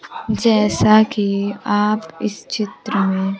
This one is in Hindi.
जैसा कि आप इस चित्र में--